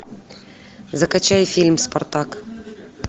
закачай фильм спартак